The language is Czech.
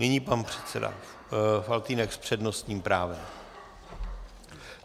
Nyní pan předseda Faltýnek s přednostním právem.